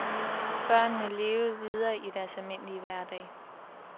Børnene levede videre i deres almindelige hverdag.